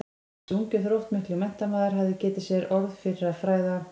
Þessi ungi og þróttmikli menntamaður hafði getið sér orð fyrir að fræða